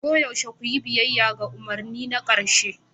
Koyaushe ku yi biyayya ga umarni na ƙarshe